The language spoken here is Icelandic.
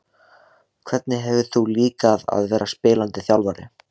Hvernig hefur þér líkað að vera spilandi þjálfari?